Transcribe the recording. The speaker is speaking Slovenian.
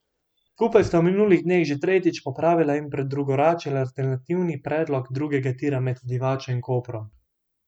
Skupaj sta v minulih dneh že tretjič popravila in predrugačila alternativni predlog drugega tira med Divačo in Koprom.